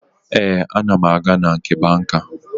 Ee, ana m aga na nke banka